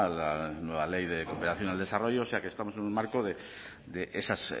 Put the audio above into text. la nueva ley de cooperación al desarrollo o sea que estamos en un marco de esas